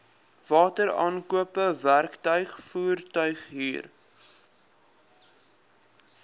wateraankope werktuig voertuighuur